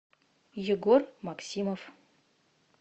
егор максимов